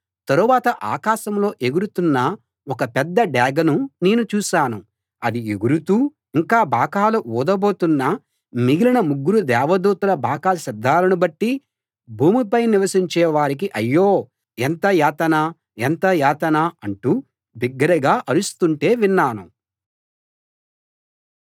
తరువాత ఆకాశంలో ఎగురుతున్న ఒక పెద్ద డేగను నేను చూశాను అది ఎగురుతూ ఇంకా బాకాలు ఊదబోతున్న మిగిలిన ముగ్గురు దేవదూతల బాకా శబ్దాలను బట్టి భూమిపై నివసించే వారికి అయ్యో ఎంత యాతన ఎంత యాతన ఎంత యాతన అంటూ బిగ్గరగా అరుస్తుంటే విన్నాను